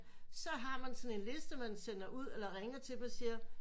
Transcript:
Så har man sådan en liste man sender ud eller ringer til dem og siger